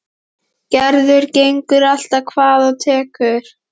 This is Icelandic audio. Gerður gengur allt hvað af tekur.